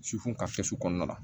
ka kɔnɔna la